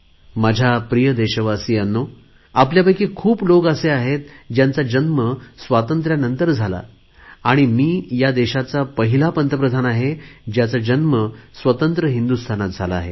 माझ्या प्रिय देशवासीयांनो आपल्या पैकी खूप लोक असे आहेत ज्यांचा जन्म स्वातंत्र्यांनंतर झाला आणि मी या देशाचा पहिला पंतप्रधान आहे ज्याचा जन्म स्वतंत्र हिंदुस्थानात झाला आहे